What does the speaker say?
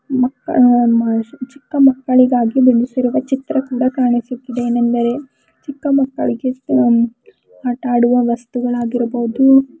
ಮಕ್ಕಳ ಚಿಕ್ಕ ಮಕ್ಕಳಿಗಾಗಿ ಬಿಡಿಸಿರುವ ಚಿತ್ರ ಕೂಡ ಕಾಣಿಸುತ್ತಿದೆ ಏನೆಂದರೆ ಚಿಕ್ಕ ಮಕ್ಕಳಿಗಷ್ಟೇ ಆಟ ಆಡುವ ವಸ್ತುಗಳಾಗಿರಬಹುದು--